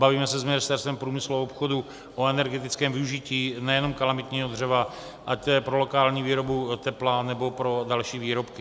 Bavíme se s Ministerstvem průmyslu a obchodu o energetickém využití nejen kalamitního dřeva, ať to je pro lokální výrobu tepla, nebo pro další výrobky.